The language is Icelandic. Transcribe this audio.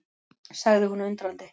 sagði hún undrandi.